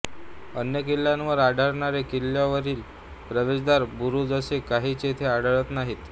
अन्य किल्ल्यावर आढळणारे किल्ल्यांवरील प्रवेशद्वार बुरूज असे काहीच येथे आढळत नाहीत